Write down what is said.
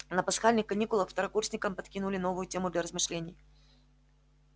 на пасхальных каникулах второкурсникам подкинули новую тему для размышлений